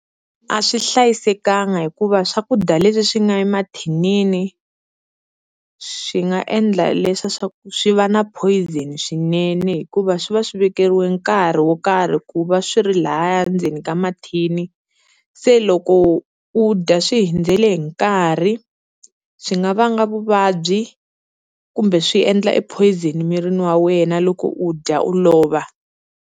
A swi hlayisekanga hikuva swakudya leswi swi nga emathinini swi nga endla leswa swa ku swi va na poison swinene hikuva swi va swi vekeriwa nkarhi wo karhi ku va swi ri lahaya ndzeni ka mathini, se loko u dya swi hundzele hi nkarhi swi nga vanga vuvabyi kumbe swi endla e poison mirini wa wena loko u dya u lova.